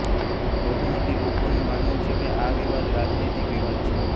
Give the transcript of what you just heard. બહુમતિ લોકોનું માનવું છે કે આ વિવાદ રાજનૈતિક વિવાદ છે